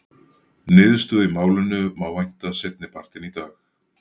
Niðurstöðu í málinu má vænta seinni partinn í dag.